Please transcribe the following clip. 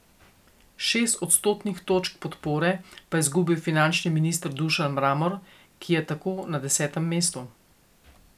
Šest odstotnih točk podpore pa je izgubil finančni minister Dušan Mramor, ki je tako na desetem mestu.